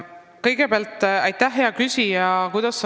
Kõigepealt aitäh, hea küsija!